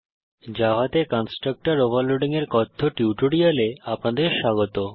জাভাতে constructor overloading এর কথ্য টিউটোরিয়ালে আপনাদের স্বাগত